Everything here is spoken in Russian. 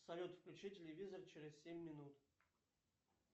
салют включи телевизор через семь минут